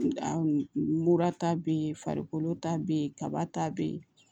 Mura ta be yen farikolo ta be yen kaba ta be yen